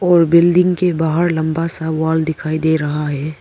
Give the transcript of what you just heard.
और बिल्डिंग के बाहर लंबा सा वाल दिखाई दे रहा है।